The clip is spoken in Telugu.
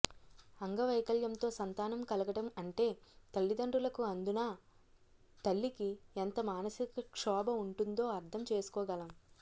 అంగవైకల్యంతో సంతానం కలగడం అంటే తల్లిదండ్రులకు అందునా తల్లికి ఎంత మానసిక క్షోభ ఉంటుందో అర్థం చేసుకోగలం